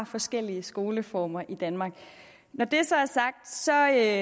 forskellige skoleformer i danmark når det så er